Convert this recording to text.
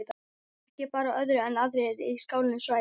Ekki bar á öðru en aðrir í skálanum svæfu.